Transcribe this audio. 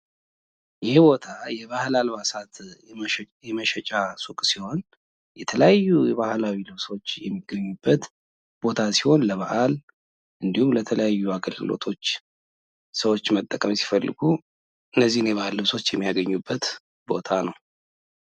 ይህ ቦታ የባህል አልባሳት የመሸጫ ሱቅ ሲሆን የተለያዩ የባላዊ ልብሶች የሚገኙበት ቦታ ሲሆን ለበአል እንዲሁም ለተለያዩ አገልግሎቶች ሰዎች መጠቀም ሲፈልጉ እነዚህን የባህል ልብሶች የሚያገኙበት ቦታ ነው።